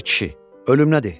Ay kişi, ölüm nədir?